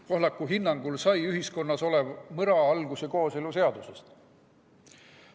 Pohlaku hinnangul sai ühiskonnas olev mõra alguse kooseluseadusest.